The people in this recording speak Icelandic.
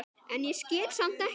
en ég skil samt ekki.